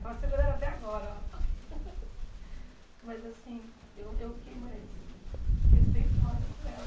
Estava segurando até agora, ó. Mas assim, eu eu fiquei mais respeitosa com ela.